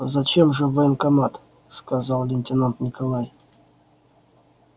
зачем же в военкомат сказал лейтенант николай